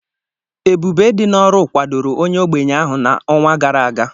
Ebube dị n'ọrụ kwadoro onye ogbenye ahụ n'ọnwa gara aga.